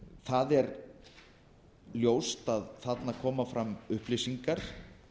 það er ljóst að þarna koma fram upplýsingar